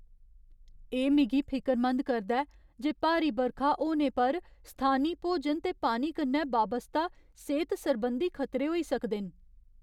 एह् मिगी फिकरमंद करदा ऐ जे भारी बरखा होने पर स्थानी भोजन ते पानी कन्नै बाबस्ता सेह्त सरबंधी खतरे होई सकदे न।